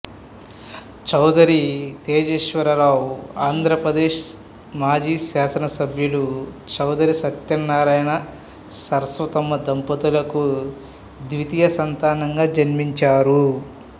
చౌదరి తేజేశ్వరరావు ఆంధ్రప్రదేశ్ మాజీ శాసన సభ్యులు చౌదరి సత్యనారాయణ సరస్వతమ్మ దంపతులకు ద్వితీయ సంతానంగా జన్మించారు